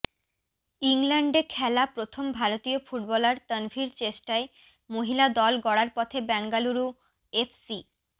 ইংল্যান্ডে খেলা প্রথম ভারতীয় ফুটবলার তনভির চেষ্টায় মহিলা দল গড়ার পথে বেঙ্গালুরু এফসি